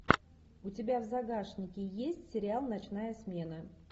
у тебя в загашнике есть сериал ночная смена